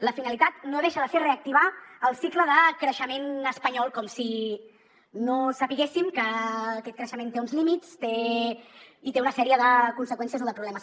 la finalitat no deixa de ser reactivar el cicle de creixement espanyol com si no sabéssim que aquest creixement té uns límits i té una sèrie de conseqüències o de problemes